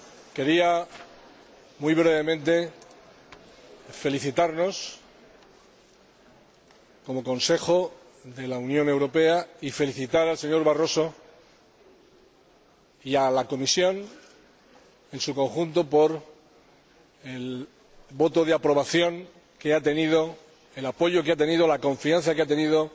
quería, muy brevemente, felicitarnos como Consejo de la Unión Europea y felicitar al señor Barroso y a la Comisión en su conjunto por el voto de aprobación que ha recibido, el apoyo que ha obtenido, la confianza que ha tenido,